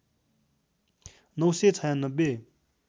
९ सय ९६